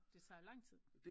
Det tager lang tid